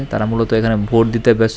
তারা মূলত এখানে ভোট দিতে ব্যস--